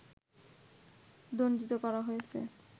দণ্ডিত করা হয়েছে